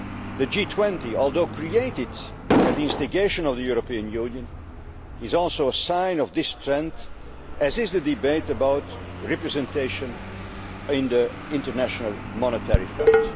The G20, although created at the instigation of the European Union, is also a sign of this trend, as is the debate about representation in the International Monetary Fund.